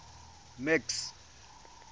max